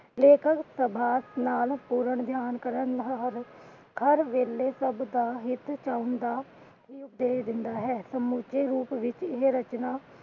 ਲੇਖਕ ਪੂਰਨ ਧਯਾਨ ਕਰਨ ਨਾਲ ਹਰ ਵੇਲੇ ਸਭ ਦਾ ਹਿੱਤ ਚਾਹੁਣ ਦਾ ਦਿੰਦਾ ਹੈ। ਸਮੁੱਚੇ ਰੂਪ ਵਿੱਚ ਇਹ ਰਚਨਾ